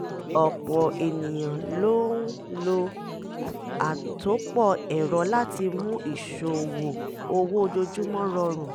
ọ̀pọ̀ ènìyàn ló ń lo àtòpọ̀ ẹ̀rọ láti mú ìṣòwò owó ojoojúmọ́ rọrùn